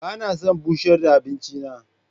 Ba na son bushar da abinci na.